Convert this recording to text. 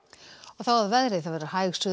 þá að veðri hæg